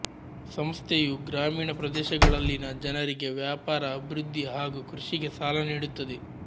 ಸಂಸ್ಥೆಯು ಗ್ರಾಮೀಣ ಪ್ರದೇಶಗಳಲ್ಲಿನ ಜನರಿಗೆ ವ್ಯಾಪಾರ ಅಭಿವೃದ್ಧಿ ಹಾಗು ಕೃಷಿಗೆ ಸಾಲ ನೀಡುತ್ತದೆ